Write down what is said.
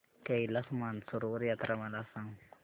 कैलास मानसरोवर यात्रा मला सांग